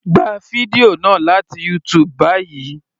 Gba fídíò náà láti YouTube báyìí.